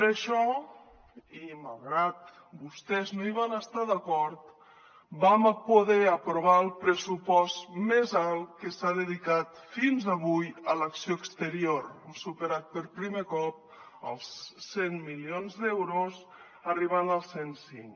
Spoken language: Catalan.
per això i malgrat que vostès no hi van estar d’acord vam poder aprovar el pressupost més alt que s’ha dedicat fins avui a l’acció exterior hem superat per primer cop els cent milions d’euros arribant als cent i cinc